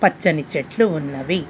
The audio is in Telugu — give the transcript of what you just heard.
పచ్చని చెట్లు ఉన్నవి.